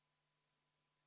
V a h e a e g